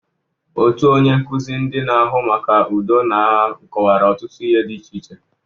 Otu onye nkuzi ndị na-ahụ maka udo na agha kọwara ọtụtụ ihe dị iche iche.